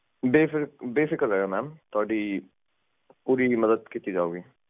okay okay